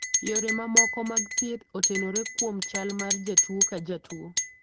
Yore mamoko mag thieth otenore kuom chal mar jatuwo ka jatuwo.